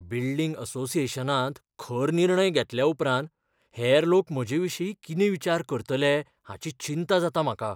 Building असोसिएशनांत खर निर्णय घेतल्या उपरांत हेर लोक म्हजेविशीं कितें विचार करतले हाची चिंता जाता म्हाका.